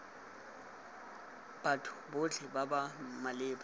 batho botlhe ba ba maleba